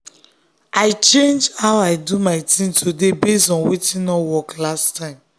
i change how i do my thing today based on wetin no work last time.